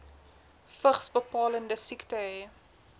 vigsbepalende siekte hê